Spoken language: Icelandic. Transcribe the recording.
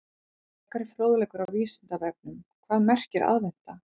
Frekari fróðleikur á Vísindavefnum: Hvað merkir aðventa?